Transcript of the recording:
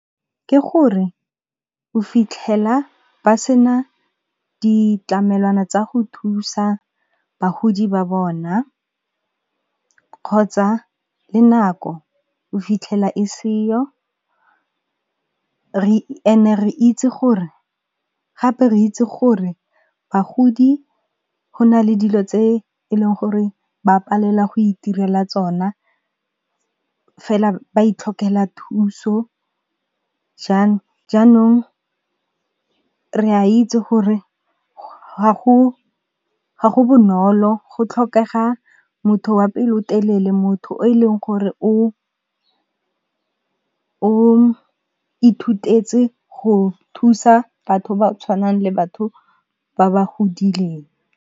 Ke gore o fitlhela ba sena ditlamelwana tsa go thusa bagodi ba bona, kgotsa le nako o fitlhela e seyo gape re itse gore bagodi go na le dilo tse e leng gore ba palela go itirela tsona fela ba itlhokela thuso. Jaanong re a itse gore ga go bonolo go tlhokega motho wa pelotelele, motho o e leng gore o ithutetse go thusa batho ba tshwanang le batho ba ba godileng.